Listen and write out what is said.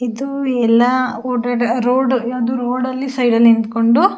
ಇದು ಎಲ್ಲ ಓಡಾಡೋ ರೋಡ್ ಅದು ರೋಡ್ ಲ್ಲಿ ಸೈಡ್ ನಿಂತ್ಕೊಂಡು --